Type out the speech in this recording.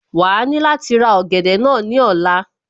Wàá ní láti ra ọ̀gẹ̀dẹ̀ náà ní ọ̀la